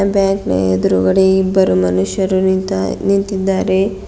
Bank ನ ಎದ್ರುಗಡೆ ಇಬ್ಬರು ಮನುಷ್ಯರು ನಿಂತಾ ನಿಂತಿದ್ದಾರೆ.